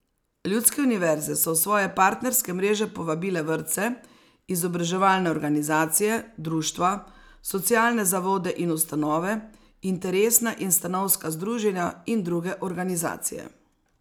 Ljudske univerze so v svoje partnerske mreže povabile vrtce, izobraževalne organizacije, društva, socialne zavode in ustanove, interesna in stanovska združenja in druge organizacije.